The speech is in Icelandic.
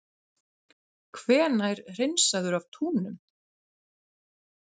Hvenær hreinsaður af túnum?